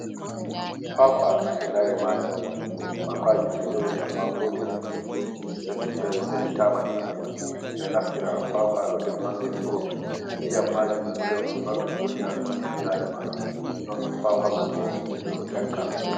Kuwakuwa be laare maajum, kuwakuwaji ɗo jooɗi ammaa gootel sennditaama ɗiɗi. Ɓe ɗo naftira kuwakuwa, ɗo nder nonne furut, ndiyam maajum hunde on marɗum bote, haa ɓanndu ɓii aadamajo, non kuwakuwa man bo, ɓe ɗo ƴakka.